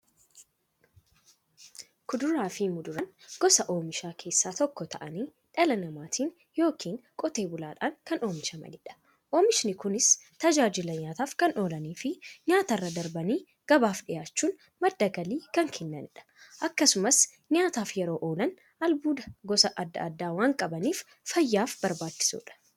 Kuduraafi muduraan gosa oomishaa keessaa tokko ta'anii, dhala namaatin yookiin Qotee bulaadhan kan oomishamaniidha. Oomishni Kunis, tajaajila nyaataf kan oolaniifi nyaatarra darbanii gabaaf dhiyaachuun madda galii kan kennaniidha. Akkasumas nyaataf yeroo oolan, albuuda gosa adda addaa waan qabaniif, fayyaaf barbaachisoodha.